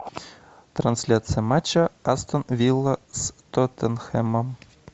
трансляция матча астон вилла с тоттенхэмом